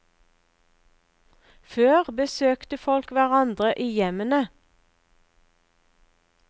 Før besøkte folk hverandre i hjemmene.